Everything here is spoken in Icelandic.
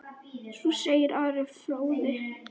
Svo segir Ari fróði.